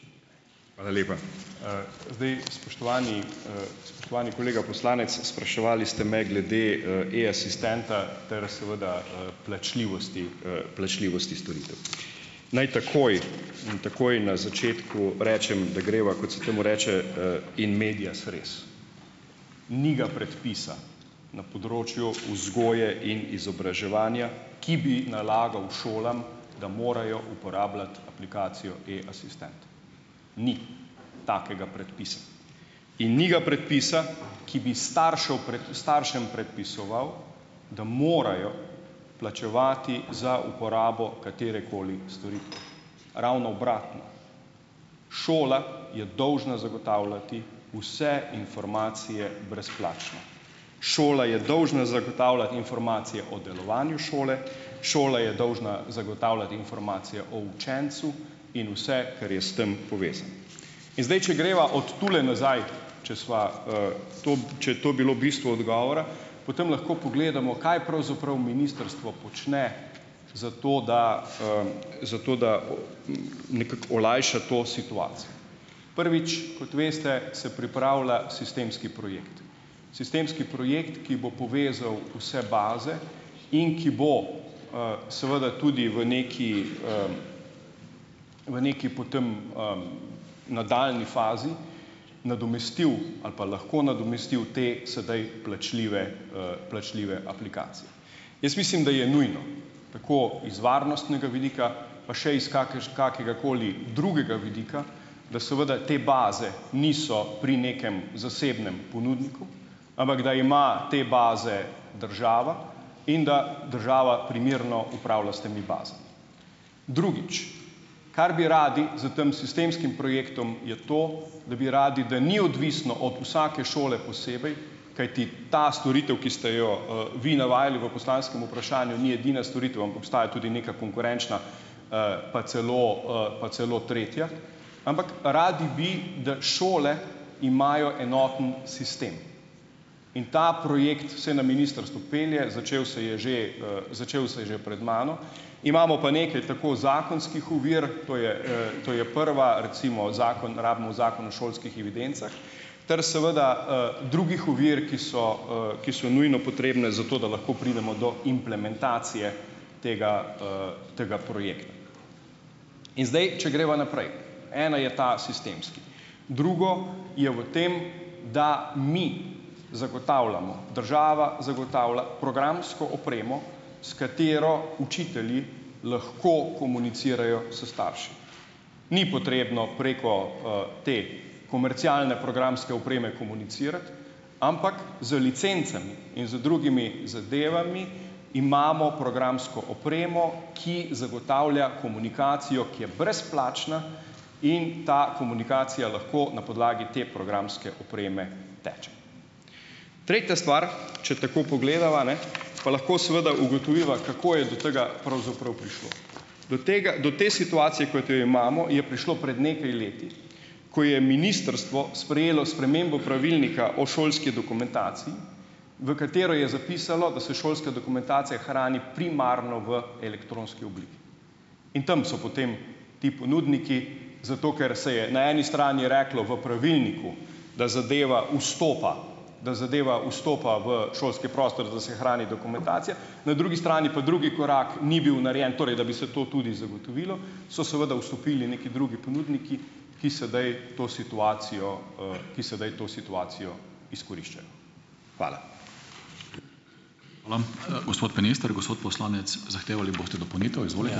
Hvala lepa. Zdaj, spoštovani, spoštovani kolega poslanec, spraševali ste me glede, E-asistenta ter seveda, plačljivosti, plačljivosti storitev. Naj takoj in takoj na začetku rečem, da greva, kot se temu, reče, in medias res. Ni ga predpisa na področju vzgoje in izobraževanja, ki bi nalagal šolam, da morajo uporabljati aplikacijo E-asistent, ni takega predpisa. In ni ga predpisa, ki bi staršev staršem predpisoval, da morajo plačevati za uporabo katerekoli storitve. Ravno obratno, šola je dolžna zagotavljati vse informacije brezplačno. Šola je dolžna zagotavljati informacije o delovanju šole, šola je dolžna zagotavljati informacije o učencu in vse, kar je s tam povezano. In zdaj, če greva od tule nazaj, če sva, to, če je to bilo bistvo odgovora, potem lahko pogledamo, kaj pravzaprav ministrstvo počne, zato da, zato da nekako olajša to situacijo. Prvič, kot veste, se pripravlja sistemski projekt, sistemski projekt, ki bo povezal vse baze in ki bo, seveda tudi v neki, v neki potem, nadaljnji fazi nadomestil ali pa lahko nadomestil te sedaj plačljive, plačljive aplikacije. Jaz mislim, da je nujno, tako iz varnostnega vidika, pa še iz kakegakoli drugega vidika, da seveda te baze niso pri nekem zasebnem ponudniku, ampak da ima te baze država in da država primerno upravlja s temi bazami. Drugič, kar bi radi s tem sistemskim projektom, je to, da bi radi, da ni odvisno od vsake šole posebej, kajti ta storitev, ki ste jo, vi navajali v poslanskem vprašanju, ni edina storitev, ampak obstaja tudi neka konkurenčna, pa celo, pa celo tretja, ampak radi bi, da šole imajo enoten sistem. In ta projekt vsaj na ministrstvu pelje, začel se je že, začel se je že pred mano, imamo pa nekaj tako zakonskih ovir, to je, to je prva, recimo zakon rabimo Zakon o šolskih evidencah, ter seveda, drugih ovir, ki so, ki so nujno potrebne za to, da lahko pridemo do implementacije tega, tega projekta. In zdaj, če greva naprej. Ena je ta sistemski, drugo je v tem, da mi zagotavljamo, država zagotavlja programsko opremo, s katero učitelji lahko komunicirajo s starši. Ni potrebno preko, te komercialne programske opreme komunicirati, ampak z licencami in z drugimi zadevami, imamo programsko opremo, ki zagotavlja komunikacijo, ki je brezplačna, in ta komunikacija lahko na podlagi te programske opreme teče. Tretja stvar, če tako pogledava, ne, pa lahko seveda ugotoviva, kako je do tega pravzaprav prišlo. Do tega do te situacije, kot jo imamo, je prišlo pred nekaj leti, ko je ministrstvo sprejelo spremembo pravilnika o šolski dokumentaciji, v katero je zapisalo, da se šolska dokumentacija hrani primarno v elektronski obliki. In tam so potem ti ponudniki, zato ker se je na eni strani reklo v pravilniku, da zadeva vstopa da zadeva vstopa v šolski prostor, da se hrani dokumentacija, na drugi strani pa drugi korak ni bil narejen, torej da bi se to tudi zagotovilo, so seveda vstopili neki drugi ponudniki, ki sedaj to situacijo, ki sedaj to situacijo izkoriščajo. Hvala.